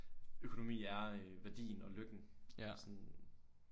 Økonomi er øh værdien og lykken sådan